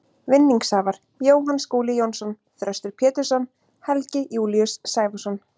Vinningshafar: Jóhann Skúli Jónsson Þröstur Pétursson Helgi Júlíus Sævarsson